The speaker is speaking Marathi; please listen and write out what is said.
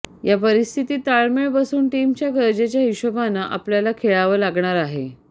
या परिस्थितीत ताळमेळ बसवून टीमच्या गरजेच्या हिशोबानं आपल्याला खेळावं लागणार आहे